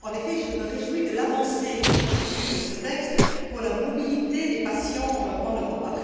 En effet, je me réjouis de l'avancée que constitue ce texte pour la mobilité des patients en Europe.